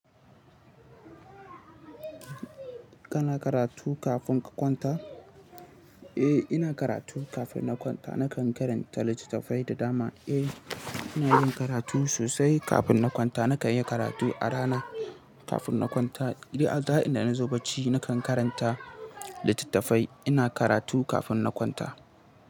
Kana karatu kafin ka kwanta? Eh, ina karatu kafin na kwanta. Nakan karanta littattafai da dama. Eh, ina yin karatu sosai kafin na kwanta. Nakan yi karatu a rana kafin na kwanta. Duk a za'in da na zo bacci, nakan karanta littattafai. Ina karatu kafin na kwanta.